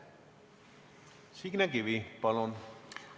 Signe Kivi, palun!